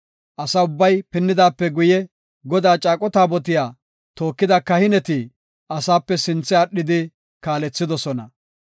Asa ubbay, pinnidaape guye, Godaa caaqo taabotiya tookida kahineti asaape sinthe aadhidi kaalethidosona.